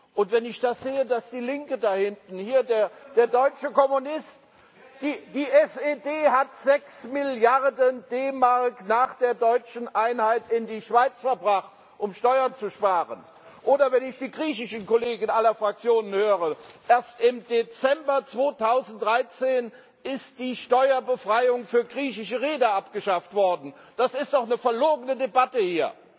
Und wenn ich das sehe, dass die Linke da hinten, hier der deutsche Kommunist die SED hat 6 Milliarden D Mark nach der deutschen Einheit in die Schweiz verbracht, um Steuern zu sparen oder wenn ich die griechischen Kollegen aller Fraktionen höre erst im Dezember 2013 ist die Steuerbefreiung für griechische Reeder abgeschafft worden das ist doch eine verlogene Debatte hier!